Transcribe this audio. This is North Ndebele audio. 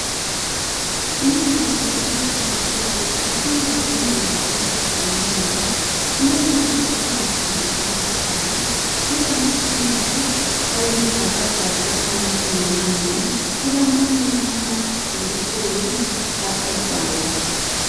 Imithi yakulezinsuku ifika ngendlela ezehlukeneyo. Kulemithi engamanzi enathwayo, kulamaphilisi ayizigaqagaqa anathwa ngamanzi, kulamanye amajekiseni ahlatshwayo.